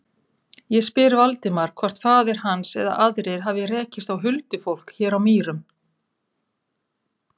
Ég spyr Valdimar hvort faðir hans eða aðrir hafi rekist á huldufólk hér á Mýrum.